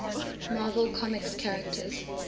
marvel comics characters